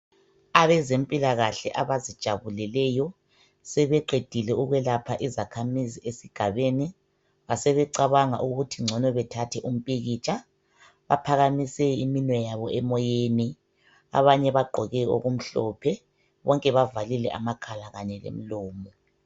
Abezempilakahle abazijabuleleyo sebeqedile ukwelapha izakhamizi esigabeni basebecabanga ukuthi ngcono bethathe umpikitsha baphakamise iminwe yabo emoyeni abanye bagqoke okumhlophe bonke bavalile amakhala kanye lemlomo